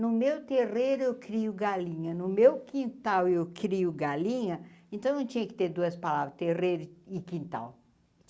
No meu terreiro eu crio galinha, no meu quintal eu crio galinha, então não tinha que ter duas palavras, terreiro e quintal.